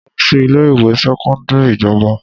Mo lọ sí ilé ìwé sẹ́kọ́ńdírì ìjọba.